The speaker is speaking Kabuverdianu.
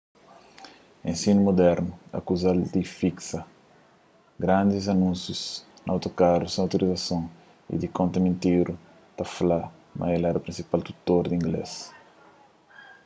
ensinu mudernu akuzal di fiksa grandis anúnsius na otokaru sen autorizason y di konta mintira ta fla ma el éra prinsipal tutor di inglês